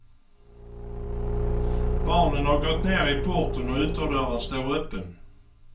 Barnen har gått ner i porten och ytterdörren står öppen.